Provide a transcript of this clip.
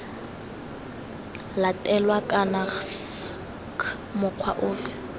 latelwa kana c mokgwa ofe